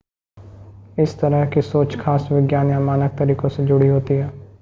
इस तरह की सोच खास विज्ञान या मानक तरीकों से जुड़ी होती है